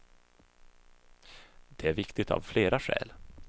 Det är viktigt av flera skäl.